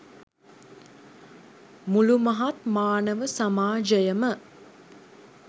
මුළු මහත් මානව සමාජයම